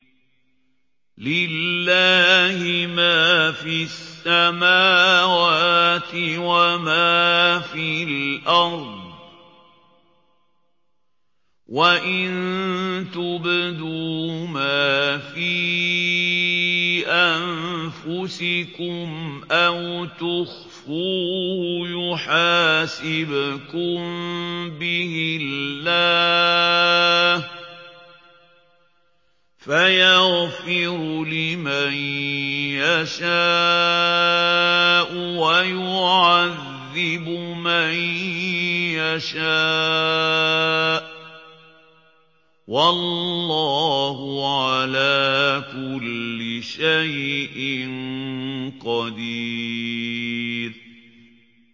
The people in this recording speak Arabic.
لِّلَّهِ مَا فِي السَّمَاوَاتِ وَمَا فِي الْأَرْضِ ۗ وَإِن تُبْدُوا مَا فِي أَنفُسِكُمْ أَوْ تُخْفُوهُ يُحَاسِبْكُم بِهِ اللَّهُ ۖ فَيَغْفِرُ لِمَن يَشَاءُ وَيُعَذِّبُ مَن يَشَاءُ ۗ وَاللَّهُ عَلَىٰ كُلِّ شَيْءٍ قَدِيرٌ